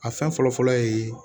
A fɛn fɔlɔ fɔlɔ ye